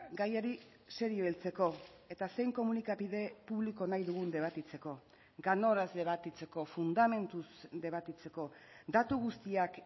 gaiari serio heltzeko eta zein komunikabide publiko nahi dugun debatitzeko ganoraz debatitzeko fundamentuz debatitzeko datu guztiak